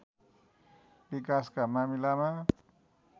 विकासका मामिलामा